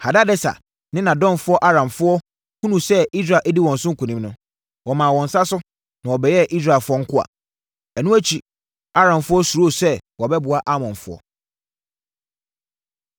Hadadeser ne nʼadɔmfoɔ Aramfoɔ hunuu sɛ Israel adi wɔn so nkonim no, wɔmaa wɔn nsa so, na wɔbɛyɛɛ Israelfoɔ nkoa. Ɛno akyi, Aramfoɔ suroo sɛ wɔbɛboa Amonfoɔ.